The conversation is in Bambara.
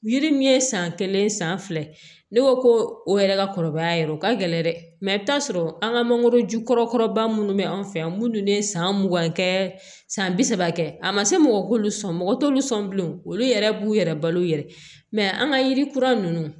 Yiri min ye san kelen san fila ye ne ko o yɛrɛ ka kɔrɔbaya yɛrɛ o ka gɛlɛn dɛ i bɛ t'a sɔrɔ an ka mangoroju kɔrɔba minnu bɛ an fɛ yan minnu ye san mugan kɛ san bi saba kɛ a ma se mɔgɔ k'olu sɔn mɔgɔ t'olu sɔn bilen olu yɛrɛ b'u yɛrɛ balo u yɛrɛ ye an ka yiri kura ninnu